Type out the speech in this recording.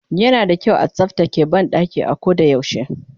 yana da kyau a tsaftace banɗaki a ko da yaushe